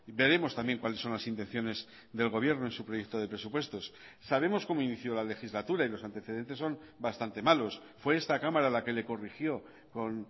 veremos también cuáles son las intenciones del gobierno en su proyecto de presupuestos sabemos cómo inició la legislatura y los antecedentes son bastante malos fue esta cámara la que le corrigió con